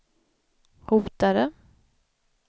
hotade